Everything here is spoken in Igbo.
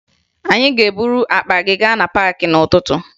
Anyị ga-eburu akpa anyị gaa na paakị n'ụtụtụ